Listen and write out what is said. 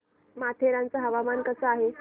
माथेरान चं हवामान कसं आहे